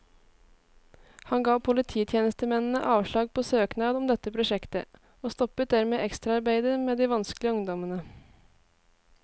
Han ga polititjenestemennene avslag på søknad om dette prosjektet, og stoppet dermed ekstraarbeidet med de vanskelige ungdommene.